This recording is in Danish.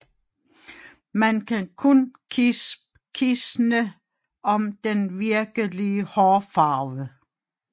Man kan kun gisne om den virkelige hårfarve